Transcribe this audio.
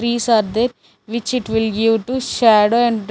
trees are there which it will give to shadow and--